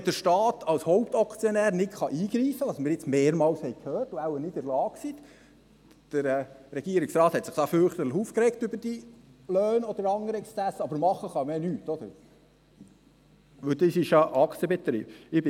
Wenn der Staat als Hauptaktionär nicht eingreifen kann, was wir mehrmals gehört haben, weil er wahrscheinlich nicht in der Lage ist – der Regierungsrat hat sich fürchterlich über die Löhne oder andere Exzesse aufgeregt, aber machen kann man ja nichts –, weil es eine Aktengesellschaft ist.